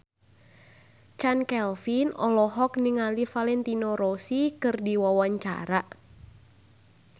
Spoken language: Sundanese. Chand Kelvin olohok ningali Valentino Rossi keur diwawancara